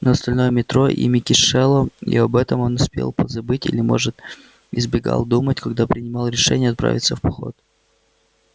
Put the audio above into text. но остальное метро ими кишело и об этом он успел позабыть или может избегал думать когда принимал решение отправиться в поход